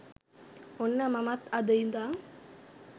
ඔන්න මමත් අද ඉදන්